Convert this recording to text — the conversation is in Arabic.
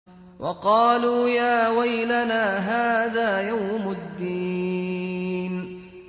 وَقَالُوا يَا وَيْلَنَا هَٰذَا يَوْمُ الدِّينِ